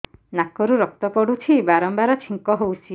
ନାକରୁ ରକ୍ତ ପଡୁଛି ବାରମ୍ବାର ଛିଙ୍କ ହଉଚି